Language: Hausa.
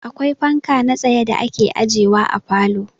Akwai fanka na tsaye da ake ajewa a falo.